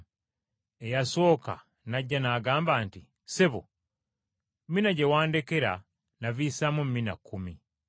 “Eyasooka n’ajja n’agamba nti, ‘Ssebo, mina gye wandekera navisaamu mina kkumi.’